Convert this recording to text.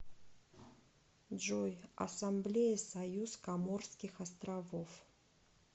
джой ассамблея союз коморских островов